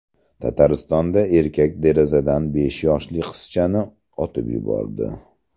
Tataristonda erkak derazadan besh yoshli qizchani otib yubordi.